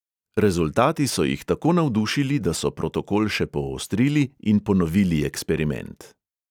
Rezultati so jih tako navdušili, da so protokol še poostrili in ponovili eksperiment.